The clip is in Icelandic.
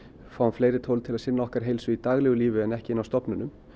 fáum fleiri tól til að sinna okkar heilsu í daglegu lífi en ekki inni á stofnunum